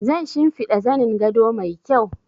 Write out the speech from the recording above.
Zan shinfida zanin gado mai kyau